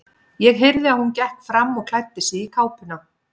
Ég heyrði að hún gekk fram og klæddi sig í kápuna.